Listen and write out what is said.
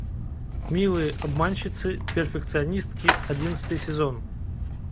милые обманщицы перфекционистки одиннадцатый сезон